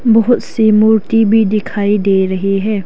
बहुत सी मूर्ति भी दिखाई दे रहे हैं।